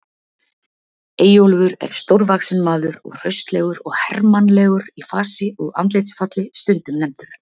Eyjólfur er stórvaxinn maður og hraustlegur og hermannlegur í fasi og andlitsfalli, stundum nefndur